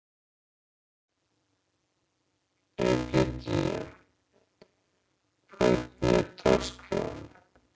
Egedía, hvernig er dagskráin?